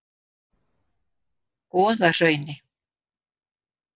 Goðahrauni